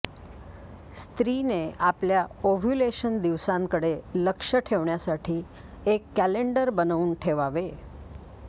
स्त्रीने आपल्या ओव्ह्युलेशन दिवसांकडे लक्ष ठेवण्यासाठी एक कॅलेंडर बनवून ठेवावे